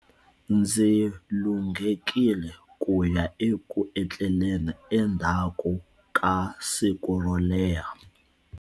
Ndzi lunghekile ku ya eku etleleni endzhaku ka siku ro leha.